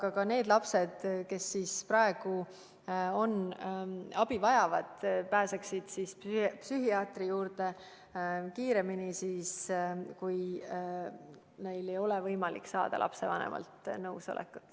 Aga need lapsed, kes praegu abi vajavad, pääsevad psühhiaatri juurde kiiremini siis, kui neil ei ole selleks vaja saada lapsevanemalt nõusolekut.